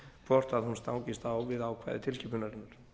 hvort hún stangast á við ákvæði tilskipunarinnar